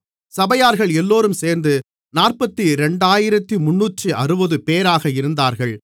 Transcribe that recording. சபையார்கள் எல்லோரும் சேர்ந்து 42360 பேராக இருந்தார்கள்